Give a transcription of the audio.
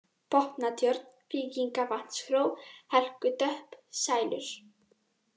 Botnatjörn, Víkingavatnshró, Helgutöpp, Sælur